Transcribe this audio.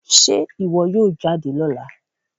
Ṣe iwọ yoo jade lọla?